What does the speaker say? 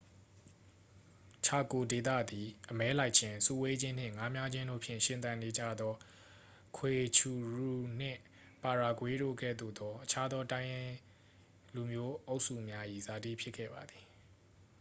ချာကို ဒေသသည် အမဲလိုက်ခြင်း စုဝေးခြင်းနှင့် ငါးမျှားခြင်းတို့ဖြင့် ရှင်သန်နေထိုင်ကြသော ဂွေချူရူ နှင့် ပါယာဂွေး တို့ကဲ့သို့သော အခြားသော တိုင်းရင်းလူမျိုးအုပ်စုများ၏ဇာတိ ဖြစ်ခဲ့ပါသည်